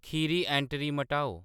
Kheri entry मटाओ